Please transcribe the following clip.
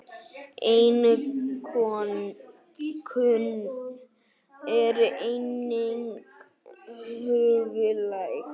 Einokun er einnig huglæg.